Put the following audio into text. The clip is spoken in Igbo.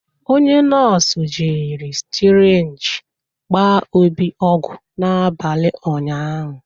onye nọọsụ jiri sirinji gbaa Obi ogwu n'abalị ụnyahụ.